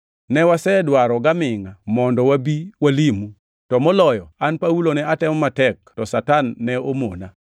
Ne wasedwaro gamingʼa mondo wabi walimu, to moloyo an Paulo ne atemo matek to Satan ne omona.